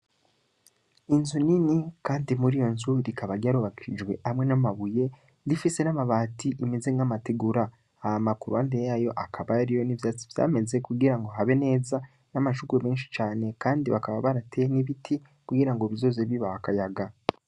Inzu Nini Kandi muriyonzu, Rikaba ryarubakishijwe hamwe n'amabuye rifise n'amabati, Ameze nk'Amategura. Hama kuruhande yayo hakaba hariyo n'ivyatsi vyameze kugira have neza, bakaba barateye n'ibiti kugira bizoze bibaha Akayaga.